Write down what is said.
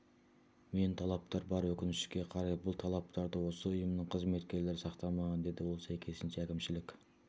мен талаптар бар өкінішке қарай бұл талаптарды осы ұйымның қызметкерлері сақтамаған деді ол сәйкесінше әкімшілік